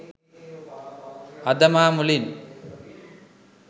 අද මා මුලින්